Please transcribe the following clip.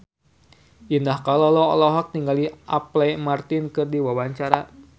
Indah Kalalo olohok ningali Apple Martin keur diwawancara